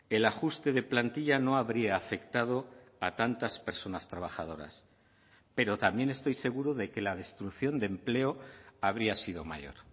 el ajuste de plantilla no habría afectado a tantas personas trabajadoras pero también estoy seguro de que la destrucción de empleo habría sido mayor